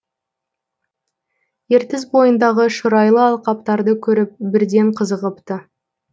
ертіс бойындағы шұрайлы алқаптарды көріп бірден қызығыпты